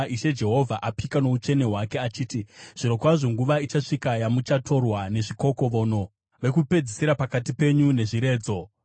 Ishe Jehovha apika noutsvene hwake achiti, “Zvirokwazvo nguva ichasvika yamuchatorwa nezvikokovono, vokupedzisira pakati penyu nezviredzo.